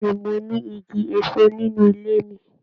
Bẹẹni, mo ni Igi èso nínú ilé mi.